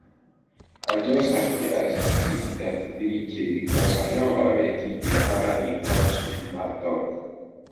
i just happy as i see di 33k bicos i don already dey para di corps member tok